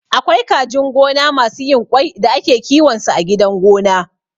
Akwai kajin gona masu yin ƙwai da ake kiwon su a gidan gona